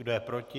Kdo je proti?